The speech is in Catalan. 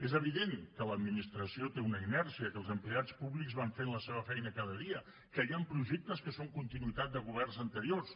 és evident que l’administració té una inèrcia que els empleats públics van fent la seva feina cada dia que hi han projectes que són continuïtat de governs anteriors